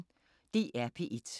DR P1